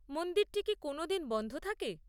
মন্দিরটি কি কোনও দিন বন্ধ থাকে?